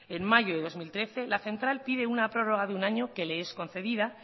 en mayo del dos mil trece la central pide una prórroga de un año que le es concedida